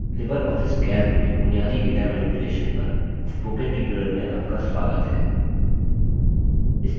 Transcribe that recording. libreoffice calc में बुनियादी data manipulation पर spoken tutorial में आपका स्वागत है